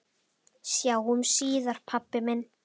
Sjáumst síðar pabbi minn.